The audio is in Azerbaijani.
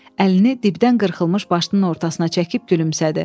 Əlini dibdən qırxılmış başının ortasına çəkib gülümsədi.